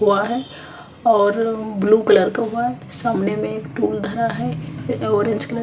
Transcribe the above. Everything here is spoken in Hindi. हुआ है और ब्लू_कलर का हुआ है सामने में एक पूल धरा है य ऑरेंज_कलर का--